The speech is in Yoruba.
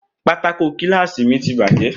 Pátákó kíláàsì mi ti bàjẹ́